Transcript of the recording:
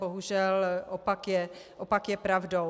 Bohužel opak je pravdou.